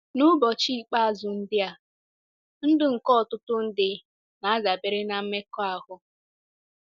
N'ụbọchị ikpeazụ ndị a, ndụ nke ọtụtụ ndị na-adabere na mmekọahụ.